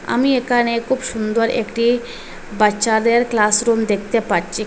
আমি একানে খুব সুন্দর একটি বাচ্চাদের ক্লাস রুম দেকতে পাচ্চি।